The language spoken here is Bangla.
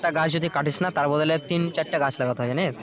একটা গাছ যদি কাটিস না তার বদলে তিন চারটা গাছ লাগাতে হয় জানিস্?